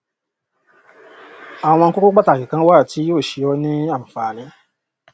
àwọn kókó pàtàkì kan wà tí yóò ṣe ọ ní ànfààní